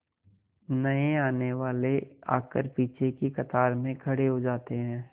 नए आने वाले आकर पीछे की कतार में खड़े हो जाते हैं